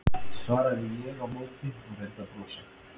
svaraði ég á móti og reyndi að brosa.